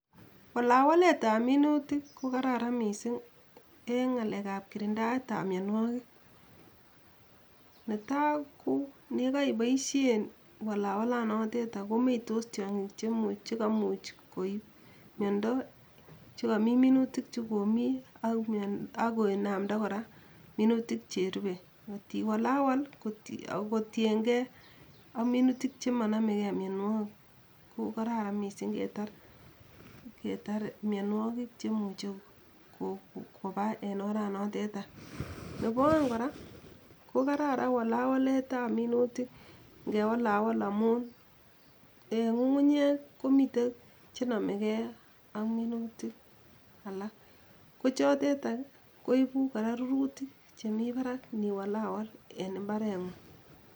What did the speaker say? Walawaletab minutik kokararan mising eng ngalekab kirindaetab mionwogik, netai ko yekoiboisien walawalanoteta komeitos tiongik che kamuch koib miondo chekomi minutik chokomi ak kinamda kora minutik cherubei, kot iwalawal kotiengei ak minutik chemonomekei mionwogik ko Kararan mising ketar mionwogik chemuche koba en oranoteta, nebo oeng kora kokararan walawaletab minutik ngewalawal amun eng ngungunyek komitei chenomekei ak minutik alak, kochotetak koibu kora rurutik chemi barak niwalawal en imbarengung.